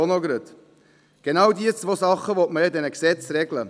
Genau diese beiden Dinge will man ja mit diesen Gesetzen regeln.